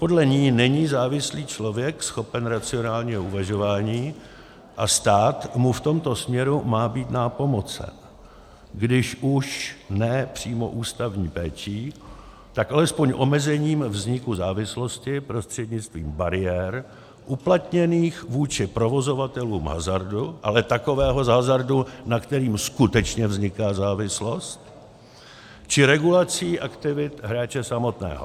Podle ní není závislý člověk schopen racionálního uvažování a stát mu v tomto směru má být nápomocen, když už ne přímo ústavní péčí, tak alespoň omezením vzniku závislosti prostřednictvím bariér uplatněných vůči provozovatelům hazardu, ale takového hazardu, na kterém skutečně vzniká závislost, či regulací aktivit hráče samotného.